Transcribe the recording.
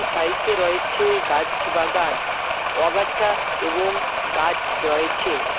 সাইটে রয়েছে গাছ বাগান অগাছা এবং গাছ রয়েছে।